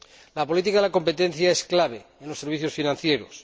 La política de competencia es clave en los servicios financieros.